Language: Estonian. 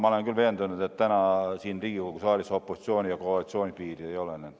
Ma olen küll veendunud, et täna siin Riigikogu saalis piiri opositsiooni ja koalitsiooni vahel ei ole.